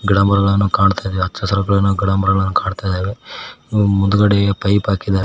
ಗಿಡಮರಗಳನ್ನು ಕಾಣುತ್ತದೆ ಹಚ್ಚಸರಾದ ಗಿಡಮರಗಳನ್ನು ಕಾಣುತ್ತದೆ ಮುಂದುಗಡೆ ಪೈಪ್ ಹಾಕಿದ್ದಾ --